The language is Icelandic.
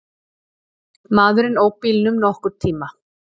Maðurinn ók bílnum nokkurn tíma.